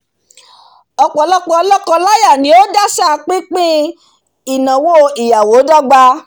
ọ̀pọ̀lopọ̀ lọ́kọ- láyà ni o dásà pín pín ìnáwó ìyàwó ní dogba